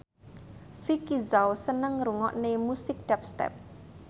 Vicki Zao seneng ngrungokne musik dubstep